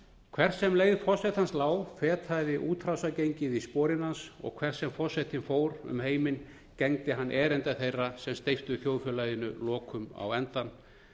hvert sem leið forsetans lá fetaði útrásargengið í sporin hans og hvert sem forsetinn fór um heiminn gegndi hann erinda þeirra sem steyptu þjóðfélaginu lokum á endann